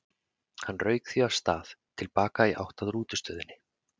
Hann rauk því af stað til baka í átt að rútustöðinni.